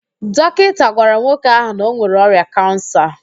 Dọkinta gwara nwoke ahụ na ọ nwere ọrịa kansa